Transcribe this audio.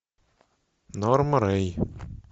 норма рэй